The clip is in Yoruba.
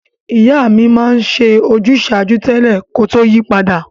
Ìyá mi ma n se ojúsàjúú tẹ́lẹ̀ ko to yi padà